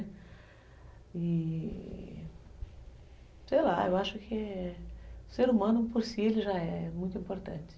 Sei lá, eu acho que o ser humano por si já é muito importante.